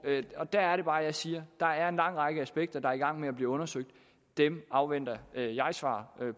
der er det bare jeg siger der er en lang række aspekter der er i gang med at blive undersøgt dem afventer jeg jeg svar